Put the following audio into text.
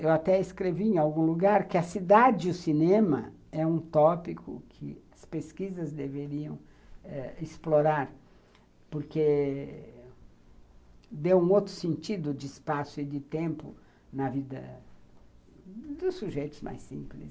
Eu até escrevi em algum lugar que a cidade e o cinema é um tópico que as pesquisas deveriam eh explorar, porque deu um outro sentido de espaço e de tempo na vida dos sujeitos mais simples.